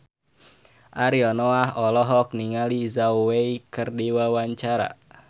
Ariel Noah olohok ningali Zhao Wei keur diwawancara